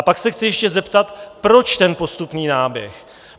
A pak se chci ještě zeptat, proč ten postupný náběh.